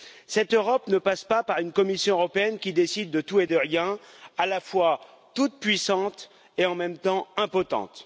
Cette Europe ne passe pas par une Commission européenne qui décide de tout et de rien, à la fois toute puissante et en même temps impotente.